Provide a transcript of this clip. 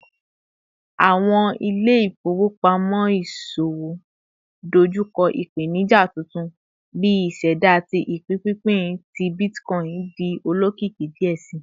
Awọn ile-ifowopamọ iṣowo dojukọ ipenija tuntun bi iseda ti ipinpinpin ti bitcoin di olokiki diẹ sii